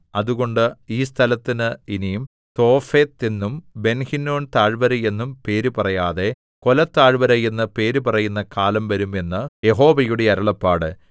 അതുകൊണ്ട് ഈ സ്ഥലത്തിന് ഇനി തോഫെത്ത് എന്നും ബെൻഹിന്നോം താഴ്വര എന്നും പേരുപറയാതെ കൊലത്താഴ്വര എന്ന് പേരുപറയുന്ന കാലം വരും എന്ന് യഹോവയുടെ അരുളപ്പാട്